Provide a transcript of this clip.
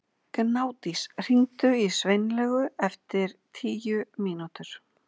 Gnádís, hringdu í Sveinlaugu eftir tíu mínútur.